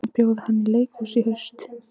Bjóða henni í leikhús í haust.